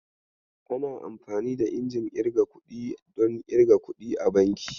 Ana amfani da injin irga kuɗi don irga kuɗi a banki.